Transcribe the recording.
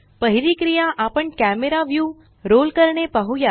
पहिली क्रिया आपण कॅमरा व्यू रोल करणे पाहुया